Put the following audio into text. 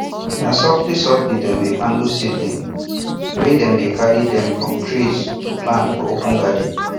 na softly softly dem de handle seedlings wen dem dey carry dem from trays go plant for open garden